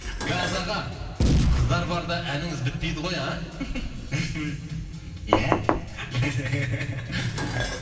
газ аға қыздар барда әніңіз бітпейді ғой а